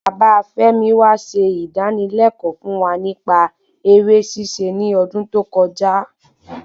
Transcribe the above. Bàbá femi wa se idanilẹkọ fún wa nipa eré ṣíṣe ní odún tó kọjá